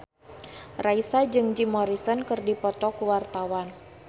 Raisa jeung Jim Morrison keur dipoto ku wartawan